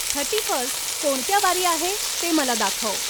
thirty first कोणत्या वारी आहे ते मला दाखव